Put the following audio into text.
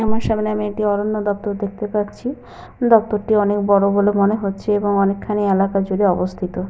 আমার সামনে আমি একটি অরণ্য দপ্তর দেখতে পাচ্ছি। দপ্তর টি অনেক বড় বলে মনে হচ্ছে এবং অনেকখানি এলাকা জুড়ে অবস্থিত।